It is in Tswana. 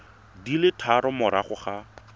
di le tharo morago ga